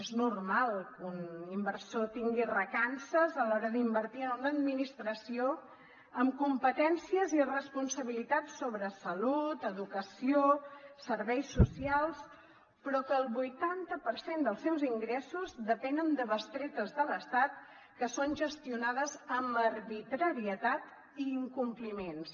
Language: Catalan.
és normal que un inversor tingui recança a l’hora d’invertir en una administració amb competències i responsabilitat sobre salut educació serveis socials però que el vuitanta per cent dels seus ingressos depenen de bestretes de l’estat que són gestionades amb arbitrarietat i incompliments